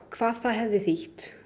hvað það hefði þýtt